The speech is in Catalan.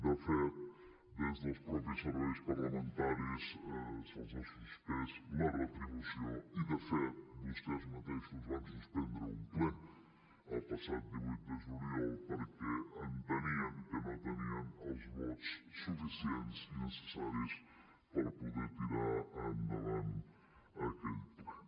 de fet des dels mateixos serveis parlamentaris se’ls ha suspès la retribució i de fet vostès mateixos van suspendre un ple el passat divuit de juliol perquè entenien que no tenien els vots suficients i necessaris per poder tirar endavant aquell ple